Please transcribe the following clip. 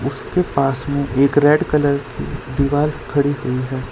उसके पास में एक रेड कलर की दीवार खड़ी हुई है।